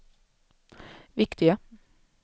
viktiga